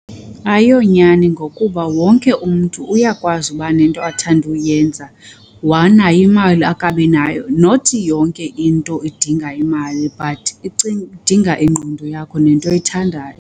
Ayiyonyani ngokuba wonke umntu uyakwazi uba nento athanda ukuyenza wanayo imali akabi nayo. Not yonke into idinga imali but idinga ingqondo yakho nento oyithandayo.